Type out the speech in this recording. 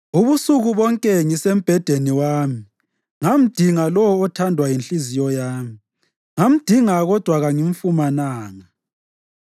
Ubusuku bonke ngisembhedeni wami ngamdinga lowo othandwa yinhliziyo yami; ngamdinga kodwa kangimfumananga.